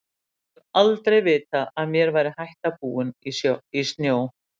Ég hef aldrei vitað að mér væri hætta búin í snjó.